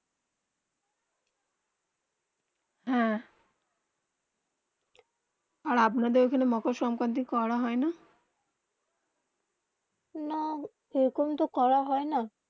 হেঁ আর আপনা দের ওখানে মোকার সংকৃতি করা হয়ে না, না এই রকম তো করা হয়ে না